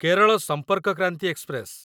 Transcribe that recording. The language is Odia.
କେରଳ ସମ୍ପର୍କ କ୍ରାନ୍ତି ଏକ୍ସପ୍ରେସ